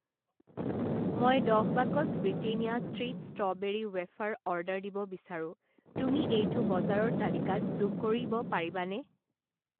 মই দহ box Britannia treat strawberry wafer order দিব বিচাৰোঁ, তুমি এইটো বজাৰৰ তালিকাত যোগ কৰিব পাৰিবানে?